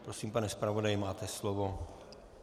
Prosím, pane zpravodaji, máte slovo.